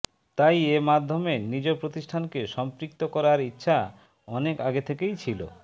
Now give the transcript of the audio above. তাই এ মাধ্যমে নিজ প্রতিষ্ঠানকে সম্পৃক্ত করার ইচ্ছা অনেক আগে থেকেই ছিল